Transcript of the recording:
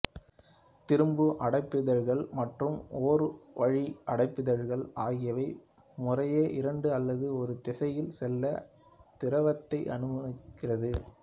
திரும்பு அடைப்பிதழ்கள் மற்றும் ஒருவழி அடைப்பிதழ்கள் ஆகியவை முறையே இரண்டு அல்லது ஒரு திசையில் செல்ல திரவத்தை அனுமதிக்கிறது